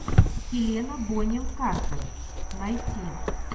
хелена бонэм картер найти